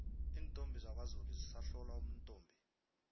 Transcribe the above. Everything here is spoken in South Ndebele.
iintombi zakwazulu zisahlolwa ubuntombi